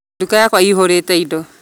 Nduka yakwa ĩihũrete indo